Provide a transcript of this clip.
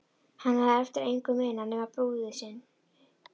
Hann hafði eftir engu munað nema brúði sinni.